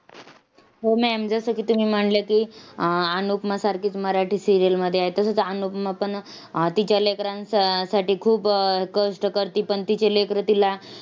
ज्यांनी अशी अ app तयार केले जातात app म तयार करन क मोठी गोष्ट राहिलेलीय सध्याच्या युगात.